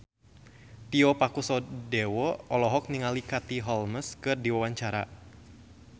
Tio Pakusadewo olohok ningali Katie Holmes keur diwawancara